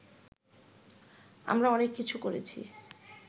আমরা অনেক কিছু করেছি